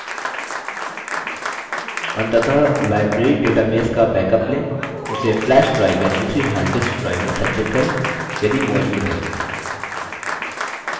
अंततः library database का backup लें उसे flash drive या दूसरी hard disk drive में संचित करें यदि मौजूद है